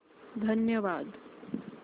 धन्यवाद